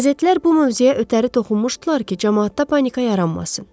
Qəzetlər bu mövzuya ötəri toxunmuşdular ki, camaatda panika yaranmasın.